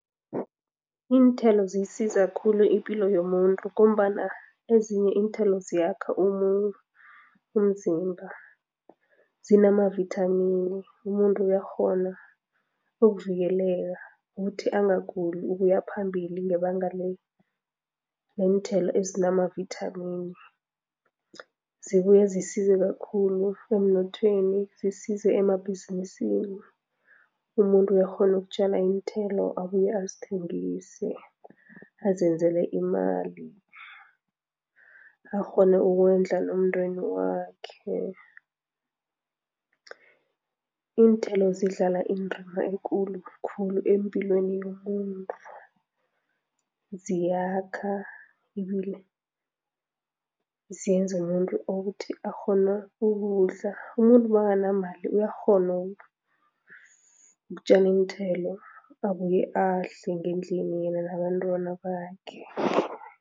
Iinthelo ziyisiza khulu ipilo yomuntu ngombana ezinye iinthelo ziyakha umzimba, zinamavithamini, umuntu uyakghona ukuvikeleka ukuthi angaguli ukuyaphambili ngebanga leenthelo ezinamavithamini. Zibuya zisize kakhulu emnothweni, zisize emabhizinisini. Umuntu uyakghona ukutjala iinthelo abuye azithengise, azenzela imali, akghone ukondla nomndeni wakhe. Iinthelo zidlala indima ekulu khulu empilweni yomuntu, ziyakha ibile zenza umuntu akghone ukuthi ukudla. Umuntu makanganamali uyakghona ukutjala iinthelo, abuye adle ngendlini, yena nabantwana bakhe.